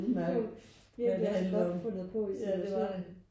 Det er jo virkelig også godt fundet på i situationen